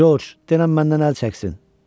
Corc, denən məndən əl çəksin!